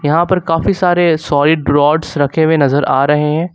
यहां पर काफी सारे सॉलिड रोड्स रखे हुए नजर आ रहे हैं।